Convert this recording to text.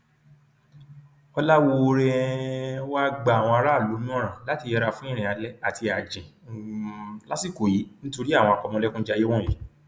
ọlàwọọre um wàá gba àwọn aráàlú nímọràn láti yẹra fún irin alẹ àti ààjìn um lásìkò yìí nítorí àwọn àpamọlẹkùnjayé wọnyí